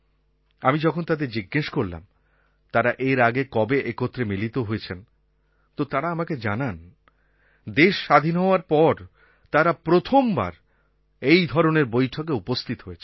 আমি যখন তাদের জিজ্ঞেস করলাম তারা এর আগে কবে একত্রে মিলিত হয়েছেন তো তারা আমাকে জানান দেশ স্বাধীন হওয়ার পর তারা প্রথমবার এই ধরনের বৈঠকে উপস্থিত হয়েছেন